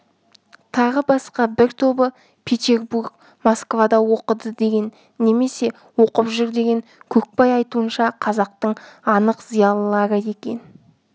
тағы басқа бір тобы петербург москвада оқыды деген немесе оқып жүр деген көкбай айтуынша қазақтың анық зиялылары екен